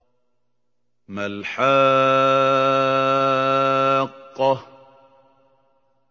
مَا الْحَاقَّةُ